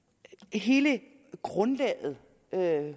hele grundlaget